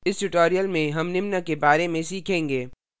इस tutorial में हम निम्न के बारे में सीखेंगे: